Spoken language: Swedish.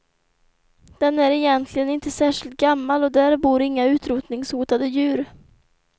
Den är egentligen inte särskilt gammal och där bor inga utrotningshotade djur.